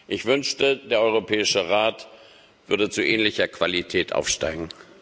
Ich wünschte, der Europäische Rat würde zu ähnlicher Qualität aufsteigen.